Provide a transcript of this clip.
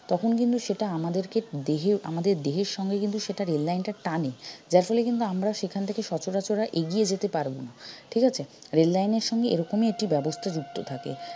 তখন কিন্তু সেটা আমাদেরকে দেহে আমাদের দেহের সঙ্গে কিন্তু সেটা rail line টা টানে যার ফলে কিন্তু আমরা সেখান থেকে সচরাচর আর এগিয়ে যেতে পারব না ঠিকাছে rail line এর সঙ্গে এরকমই একটি ব্যবস্থা যুক্ত থাকে